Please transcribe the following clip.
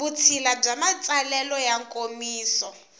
vutshila bya matsalelo ya nkomiso